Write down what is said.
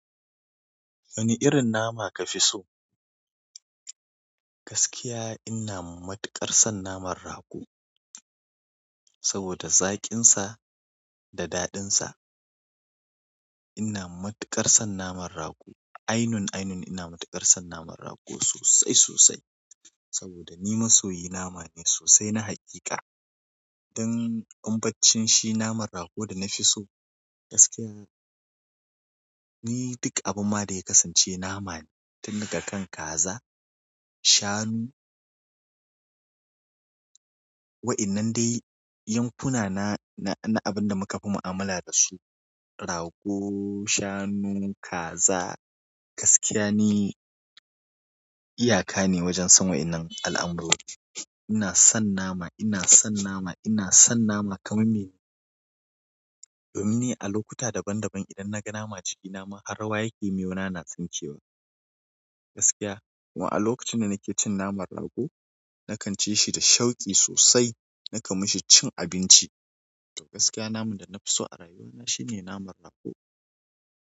Wani irin nama kafi so? Gaskiya ina matuƙar son naman rago saboda zaƙinsa da daɗinsa. Ina matuƙar son naman rago. Ainun, ainun ina matuƙar son naman rago sosai, sosai saboda ni masoyi nama ne sosai na haqiqa. Don um baccin shi naman rago da na fi so gaskiya. Ni duk abun ma da ya kasance nama tun daga kan kaza, shanu. Wa'innan dai yankuna na, na, na abin da muka fi mu'amala da su rago, shanu, kaza. Gaskiya ni iyaka ne wajen son wa'innan al'amurori. Ina son nama, ina son nama, ina son nama kamar mene. Domin ni a lokuta daban daban idan naga nama jiki nama har rawaya ke miyauna na tsinke wa. Gaskiya wa a lokacin da nake cin naman rago nakan ci shi da shauki sosai. Nakan mishi cin abinci. To gaskiya naman da na fi so a rayuwar na shine naman rago.